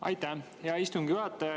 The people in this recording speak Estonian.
Aitäh, hea istungi juhataja!